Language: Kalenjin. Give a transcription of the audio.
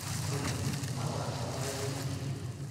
Olly, mwawa akobo yautikchu.